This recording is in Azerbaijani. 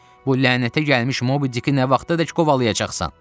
Bu lənətə gəlmiş Mobidiki nə vaxta dək qovalayacaqsan?